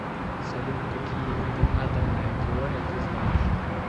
салют какие виды атомная теория ты знаешь